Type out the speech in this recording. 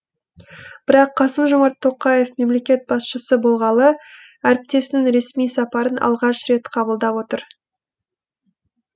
бірақ қасым жомарт тоқаев мемлекет басшысы болғалы әріптесінің ресми сапарын алғаш рет қабылдап отыр